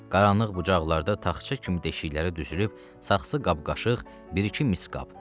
Qaranlıq bucaqlarda taxça kimi deşiklərə düzülüb saxçı qab-qaşıq, bir-iki mis qab.